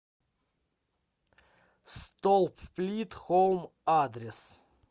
столплит хоум адрес